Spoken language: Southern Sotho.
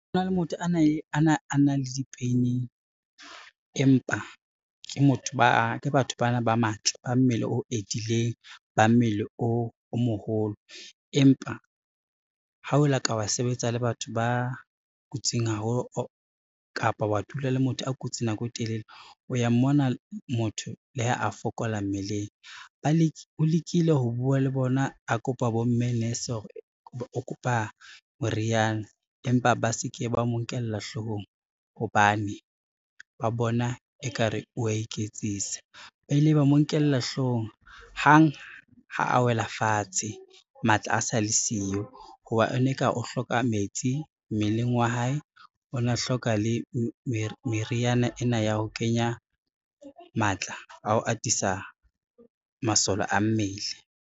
Ho na le motho a neng a na le dipeining, empa ke ba batho bana ba matla, ba mmele o edileng, ba mmele o moholo, empa ha o la ka wa sebetsa le batho ba kotsing haholo kapa wa dula le motho a kutse nako e telele, o ya mmona motho le ha a fokola mmeleng. O lekile ho bua le bona, a kopa bomme nurse hore o kopa moriana empa ba se ke ba mo nkela hloohong hobane ba bona ekare o wa iketsisa, ba ile ba mo nkela hloohong hang ha a wela fatshe, matla a sa le siyo ho ba, e ne ka o hloka metsi mmeleng wa hae, o na hloka le meriana ena ya ho kenya matla a ho atisa masole a mmele.